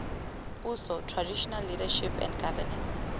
puso traditional leadership and governance